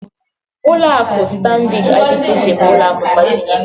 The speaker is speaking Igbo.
Uloakụ Standad IBTC bu ụlọakụ mgbazinye.